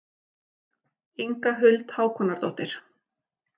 Inga Huld Hákonardóttir.